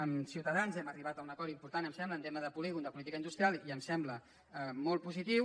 amb ciutadans hem arribat a un acord important em sembla en tema de polígon de política industrial i em sembla molt positiu